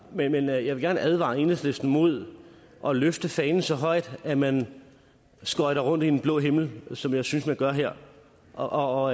men jeg jeg vil gerne advare enhedslisten imod at løfte fanen så højt at man skøjter rundt i den blå himmel som jeg synes at man gør her og og